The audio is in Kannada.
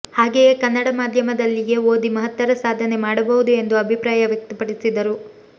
ಹಾಗೆಯೇ ಕನ್ನಡ ಮಾಧ್ಯಮದಲ್ಲಿಯೇ ಓದಿ ಮಹತ್ತರ ಸಾಧನೆ ಮಾಡಬಹುದು ಎಂದು ಅಭಿಪ್ರಾಯ ವ್ಯಕ್ತಪಡಿಸಿದರು